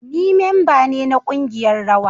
Ni memba ne na kungiyar rawa